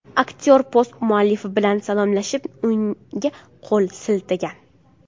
Aktyor post muallifi bilan salomlashib, unga qo‘l siltagan.